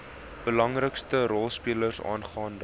belangrikste rolspelers aangaande